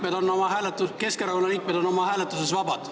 Me tahaks olla veendunud, et Keskerakonna liikmed on oma hääletuses vabad.